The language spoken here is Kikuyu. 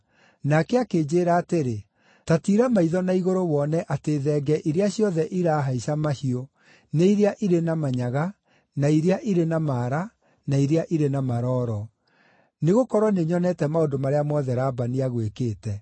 Nake akĩnjĩĩra atĩrĩ, ‘Ta tiira maitho na igũrũ wone atĩ thenge iria ciothe irahaica mahiũ nĩ iria irĩ na manyaga, na iria irĩ na maara, na iria irĩ na marooro; nĩgũkorwo nĩnyonete maũndũ marĩa mothe Labani agwĩkĩte.